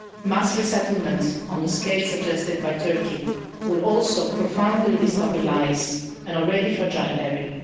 Mass resettlement on the scale suggested by Turkey would also profoundly destabilise an already fragile area.